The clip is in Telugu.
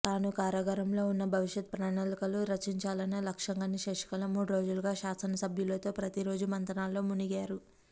తాను కారాగారంలో ఉన్నా భవిష్యత్తు ప్రణాళికలు రచించాలన్న లక్ష్యంగానే శశికళ మూడు రోజులుగా శాసనసభ్యులతో ప్రతీరోజు మంతనాల్లో మునిగారు